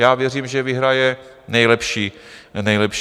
Já věřím, že vyhraje nejlepší projekt.